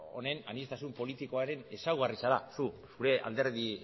honen aniztasun politikoaren ezaugarri zara zure alderdi